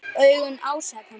Augun ásaka mig.